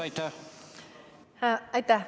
Aitäh!